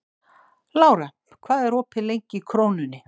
Lára, hvað er opið lengi í Krónunni?